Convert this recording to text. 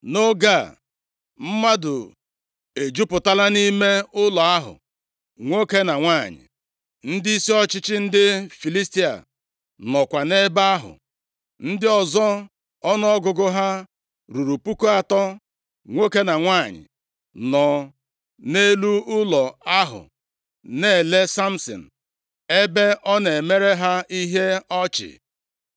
Nʼoge a, mmadụ ejupụtala nʼime ụlọ ahụ, nwoke na nwanyị; ndịisi ọchịchị ndị Filistia nọkwa nʼebe ahụ. Ndị ọzọ ọnụọgụgụ ha ruru puku atọ, nwoke na nwanyị, nọ nʼelu ụlọ ahụ na-ele Samsin, ebe ọ na-emere ha ihe ọchị.